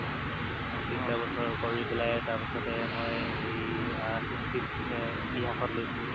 তিনটা বছৰ কৰি তাৰ পেলাই তাৰপাছতে মই এই আহ history ত ইতিহাসত লৈছিলো